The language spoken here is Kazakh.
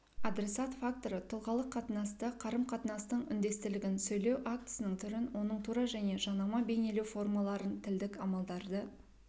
адресат факторы тұлғалық қатынасты қарым-қатынастың үндестілігін сөйлеу актісінің түрін оның тура және жанама бейнелеу формаларын тілдік амалдарды